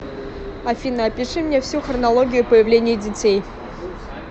афина опиши мне всю хронологию появления детей